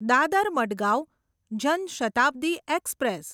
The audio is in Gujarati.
દાદર મડગાંવ જન શતાબ્દી એક્સપ્રેસ